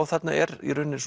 þarna er í rauninni